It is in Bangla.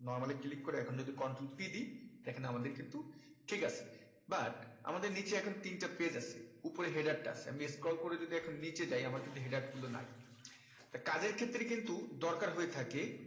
normal ই click করে এখন যদি control p দি এখানে আমাদের কিন্তু ঠিক আছে but আমাদের নিচে এখন তিনটে page আছে উপরে header টা আছে আমি scroll করে যদি এখন নিচে যায় আমার কিন্তু header গুলো নাই তা কাজের ক্ষেত্রে কিন্তু দরকার হয়ে থাকে